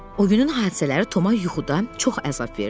O günün hadisələri Toma yuxuda çox əzab verdi.